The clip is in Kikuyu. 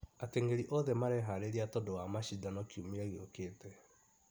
Atengeri othe mareharĩria tondũ wa macindano kĩumia gĩũkĩte